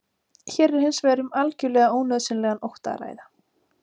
hér er hins vegar um algjörlega ónauðsynlegan ótta að ræða